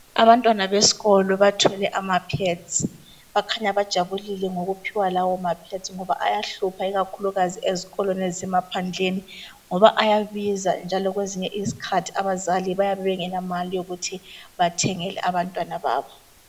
Abantwana besikolo bathole ama pads. Bakhanya bajabulile ngokuphiwa lawo mapads ngoba ayahlupha ikakhulukazi ezikolweni ezisemaphandleni ngoba ayabiza njalo kwezinye izikhathi abazali bayabe bengela mali yokuthi bathengele abantwana babo.